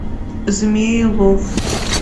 змеелов